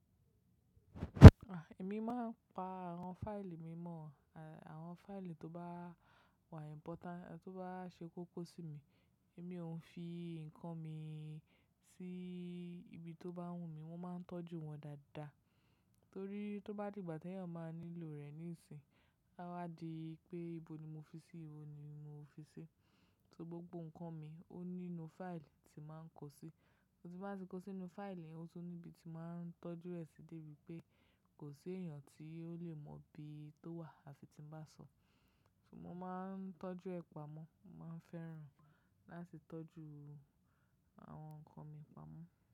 À, èmi máa ń pa àwọn fáìlì mi mọ̀. Àwọn fáìlì tó bá wà ìmpọ́ta tó bá ṣe kókó sí mi, èmi ò ń fi nǹkan mi sí ibi tó bá wù mí, mo máa ń tọ́jú wọn dáadáa. Torí tó bá di ìgbà tí èèyàn máa nílò rẹ̀ níìsín, a wá di pé ibo ni mo fi sí i, ibo ni mo fi sí i. So gbogbo nǹkan mi ó nínú fáìlì tí màá ń kó sí. Torí bí màá ti kó sí inú fáìlì, ó tún ní ibi tí màá ń tọ́jú rẹ̀ sí débi pé kò sí èèyàn tí ó lè mọ bí tó wà àfi tí ń bá sọ. So mo máa ń tọ́jú ẹ̀ pamọ́, màá ń fẹ́ràn láti tọ́jú àwọn nǹkan mi pamọ́.